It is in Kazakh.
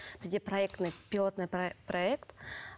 бізде проектный пилотный проект